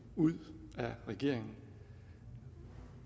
ud af regeringen